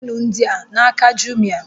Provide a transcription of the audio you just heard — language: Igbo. Onye chọrọ ịlụ ndị a n'aka Jumịa